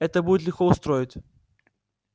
это будет легко устроить